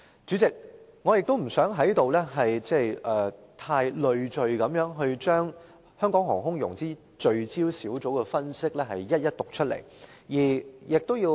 主席，我不想在這裏把推動香港航空融資聚焦小組所作分析的內容逐一讀出。